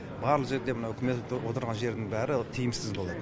барлық жерде мына үкімет отырған жердің бәрі тиімсіз болады